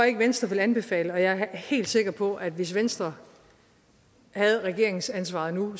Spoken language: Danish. ikke venstre vil anbefale og jeg er helt sikker på at hvis venstre havde regeringsansvaret nu